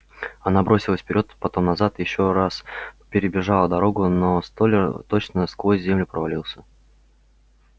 она бросилась вперёд потом назад ещё раз перебежала дорогу но столяр точно сквозь землю провалился